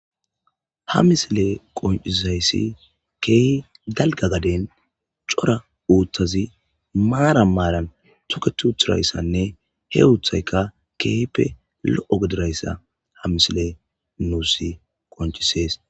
Ha misiley qonicises kehi daliga gaden coora uthazi maran maran toketi utizayisane he wothay qa kehipe logidoyisa ha misiley nus qonicises